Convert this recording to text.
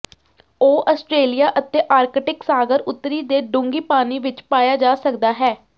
ਉਹ ਆਸਟ੍ਰੇਲੀਆ ਅਤੇ ਆਰਕਟਿਕ ਸਾਗਰ ਉੱਤਰੀ ਦੇ ਡੂੰਘੀ ਪਾਣੀ ਵਿੱਚ ਪਾਇਆ ਜਾ ਸਕਦਾ ਹੈ